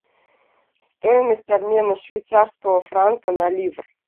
стоимость обмена швейцарского франка на ливр